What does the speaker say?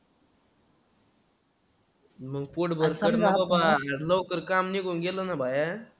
मग पोटभर कर ना बाबा. हे लवकर काम निघून गेलं ना बाहेर,